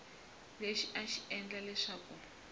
lexi a xi endla leswaku